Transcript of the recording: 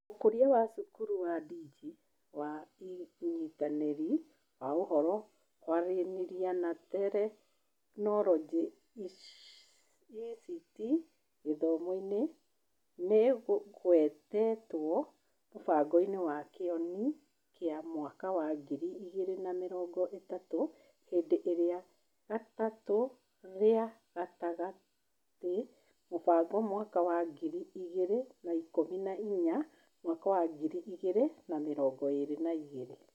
Ũkũria wa cukuru ua Digi wa ũnyitanĩri wa Ũhoro, Kwaranĩria na Teknoroji (ICT) gĩthomo-inĩ nĩ ũgwetĩtwo mũbango-inĩ wa Kione kia mwaka wa ngiri igĩrĩ na mĩrongo ĩtatũ Ihinda rĩa Gatatũ rĩa Gatagatĩki Mũbango mwaka wa ngiri igĩrĩ na ikũmi na inyanya / mwaka wa ngiri igĩrĩ na mĩrongo ĩĩrĩ na igĩrĩ